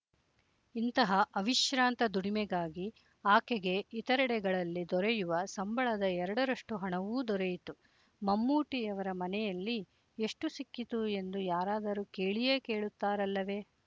ಇಂತಹ ಅವಿಶ್ರಾಂತ ದುಡಿಮೆಗಾಗಿ ಆಕೆಗೆ ಇತರೆಡೆಗಳಲ್ಲಿ ದೊರೆಯುವ ಸಂಬಳದ ಎರಡರಷ್ಟು ಹಣವೂ ದೊರೆಯಿತು ಮಮ್ಮೂಟಿಯವರ ಮನೆಯಲ್ಲಿ ಎಷ್ಟು ಸಿಕ್ಕಿತು ಎಂದು ಯಾರಾದರೂ ಕೇಳಿಯೇ ಕೇಳುತ್ತಾರಲ್ಲವೇ